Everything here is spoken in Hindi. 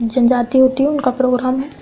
जिम जाती होती हूं उन कपड़ों में --